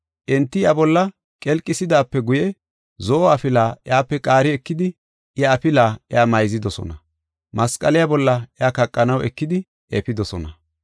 Enti iya bolla qelqisidaape guye, zo7o afilaa iyape qaari ekidi, iya afilaa iya mayzidosona. Masqaliya bolla iya kaqanaw eki efidosona.